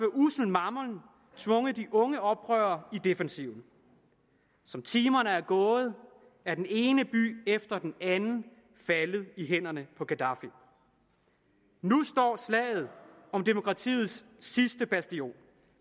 ussel mammon tvunget de unge oprørere i defensiven som timerne er gået er den ene by efter den anden faldet i hænderne på gaddafi nu står slaget om demokratiets sidste bastion